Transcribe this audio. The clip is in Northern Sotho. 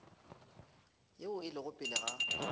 yeo e lego pele ga